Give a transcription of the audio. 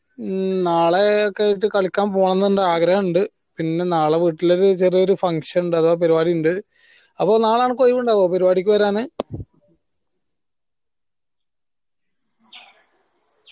മ്മ് നാളെയൊക്കെ ആയിട്ട് കളിക്കാൻ പോവണമെന്ന് ഇണ്ട് ആഗ്രഹമിണ്ട് പിന്നേ നാളെ വീട്ടിൽ നാളെ ഒരു ചെറിയ ഒരു function ഇണ്ട് അഥവാ പാറുവാടി ഇണ്ട് അപ്പൊ നാളെ അനക്ക് ഒഴിവുണ്ടാവുഒ പാറുവാടിക്ക് വരാന്